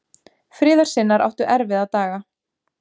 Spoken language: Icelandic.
Friðarsinnar áttu erfiða daga.